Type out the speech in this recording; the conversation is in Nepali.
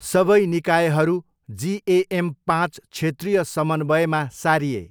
सबै निकायहरू जिएएम पाँच क्षेत्रीय समन्वयमा सारिए।